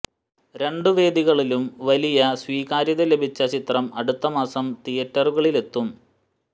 രണ്ട് വേദികളിലും വലിയ സ്വീകാര്യത ലഭിച്ച ചിത്രം അടുത്ത മാസം തിയറ്ററുകളിലെത്തും